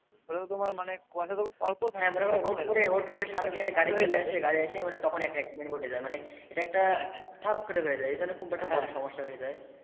কোনো রকমের মানে কুয়াশা অল্প থাকে সামনে থেকে একটা গাড়ি চলে আসছে গাড়ি এসে তখই একটা accident ঘটে যাই ইটা একটা ঠাপ করে হয়ে যাই।